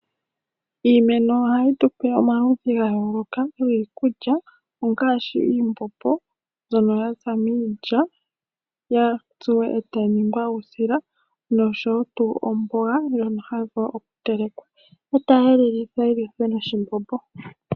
Iimeno ohayi tupe omaludhi ga yooloka giikulya ngaashi iimbombo mbyono ya za miilya ya tsuwa e tayi ningwa uusila noshowo omboga ndjono hayi vulu okutelekwa e tayi elelithwa noshimbombo.